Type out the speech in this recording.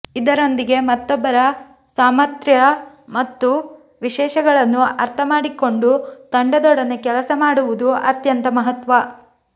ಇದರೊಂದಿಗೆ ಮತ್ತೊಬ್ಬರ ಸಾಮಥ್ರ್ಯ ಮತ್ತು ವಿಶೇಷಗಳನ್ನು ಅರ್ಥ ಮಾಡಿಕೊಂಡು ತಂಡದೊಡನೆ ಕೆಲಸ ಮಾಡುವುದೂ ಅತ್ಯಂತ ಮಹತ್ವ